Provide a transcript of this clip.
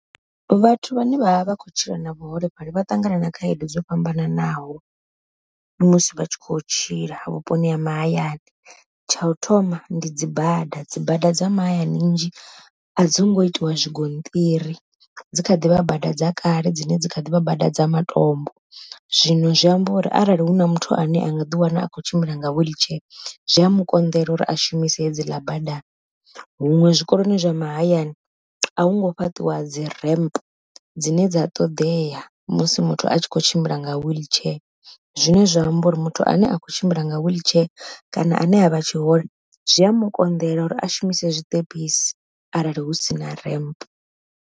Vhathu vhane vha vha vha khou tshila na vhuholefhali vha ṱangana na khaedu dzo fhambananaho, musi vha tshi khou tshila vhuponi ha mahayani. Tsha u thoma ndi dzi bada dzibada dza mahayani nnzhi a dzi ngo itiwa zwingoṱiri, dzi kha ḓivha bada dza kale dzine dzi kha ḓivha bada dza matombo. Zwino zwi amba uri arali hu na muthu ane a nga ḓi wana a khou tshimbila nga wiḽitshee zwi a mukonḓela uri a shumise hedzila bada, huṅwe zwikoloni zwa mahayani a hungo fhaṱiwa dzi ramp dzine dza ṱoḓea musi muthu a tshi kho tshimbila nga wheelchair zwine zwa amba uri muthu ane a kho tshimbila nga wheelchair kana ane a vha tshihole zwi a mukonḓela uri a shumise zwiṱepisi arali hu si na ramp.